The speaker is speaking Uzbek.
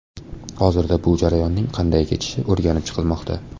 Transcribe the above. Hozirda bu jarayonning qanday kechishi o‘rganib chiqilmoqda.